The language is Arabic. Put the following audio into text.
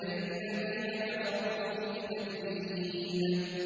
بَلِ الَّذِينَ كَفَرُوا فِي تَكْذِيبٍ